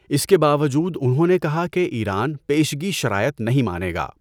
اس کے باوجود انہوں نے کہا کہ ایران پیشگی شرائط نہیں مانے گا۔